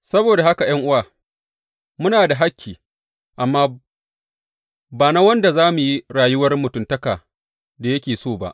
Saboda haka ’yan’uwa, muna da hakki, amma ba na wanda za mu yi rayuwar mutuntaka da yake so ba.